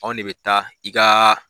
Anw de bɛ taa i ka